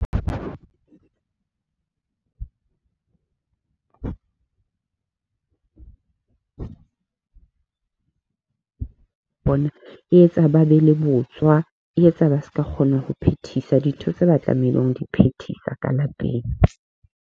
Bona e etsa ba be le botswa, e etsa ba ska kgona ho phethisa dintho tse ba tlamehileng ho di phethisa ka lapeng.